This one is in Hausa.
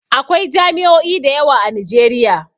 Akwai jami'o'i da yawa a Nijeriya